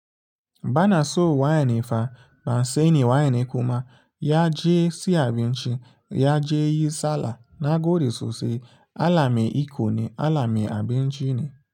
Bana so waye ne fa, ba seni waye ne kuma, ya je si abin ci, ya je yi sallah, na gode sosai a Allah me iko ne Allah me abinci ne.